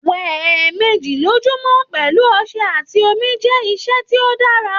Wẹ ẹẹmeji lojumọ pẹlu ọṣẹ ati omi jẹ iṣe ti o dara.